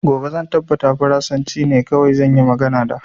Gobe zan tabbata farasanci ne kawai zan yi magana da